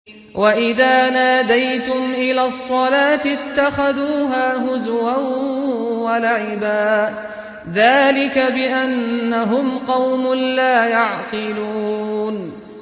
وَإِذَا نَادَيْتُمْ إِلَى الصَّلَاةِ اتَّخَذُوهَا هُزُوًا وَلَعِبًا ۚ ذَٰلِكَ بِأَنَّهُمْ قَوْمٌ لَّا يَعْقِلُونَ